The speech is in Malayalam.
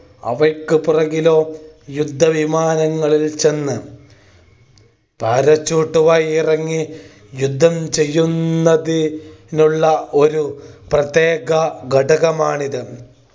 അവയ്ക്ക് പുറകിലോ യുദ്ധവിമാനങ്ങളിൽ ചെന്ന് parachute മായി ഇറങ്ങി യുദ്ധം ചെയ്യുന്നത് നുള്ള ഒരു പ്രത്യേക ഘടകമാണിത്.